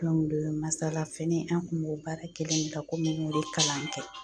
Masala fɛnɛ an kun b'o baara kelen in de la ko n y'o de kalan kɛ